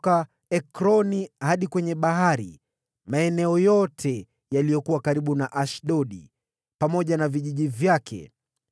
magharibi ya Ekroni, maeneo yote yaliyokuwa karibu na Ashdodi, pamoja na vijiji vyake;